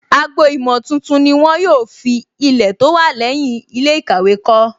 Agbo-ìmọ̀ tuntun ni wọ́n yóò fi Ilẹ̀ tó wà lẹ́yìn ilé ìkàwé kọ́